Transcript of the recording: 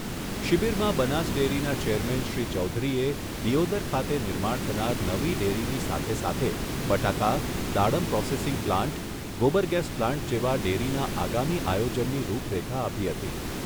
શિબિરમાં બનાસડેરીના ચેરમેન શ્રી ચૌધરીએ દિયોદર ખાતે નિર્માણ થનાર નવી ડેરીની સાથે સાથે બટાકા, દાડમ પ્રોસેસીંગ પ્લાન્ટ, ગોબરગેસ પ્લાન્ટ જેવા ડેરીના આગામી આયોજનની રૂપરેખા આપી હતી.